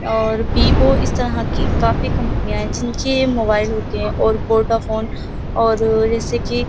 और वीवो इस तरह कि काफी कंपनियां है। जिनके मोबाइल होते है और वोडाफ़ोन और जैसे कि --